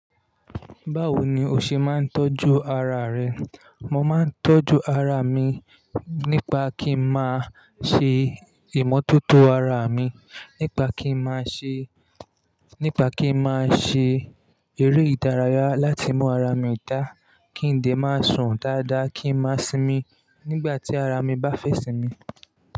Báwo ni o ṣe máa ń tọ́jú ara rẹ? Mo máa ń tọ́jú ara mi nípa kí n máa ṣe ìmọ́tótó ara mi, nípa kí n máa ṣe, nípa kí n máa ṣe eré ìdárayá láti mú ara mi dá, kí ń ldẹ̀ máa sùn dáadáa, kí ń má simi nígbà tí ara mi bá fẹ́ sinmi.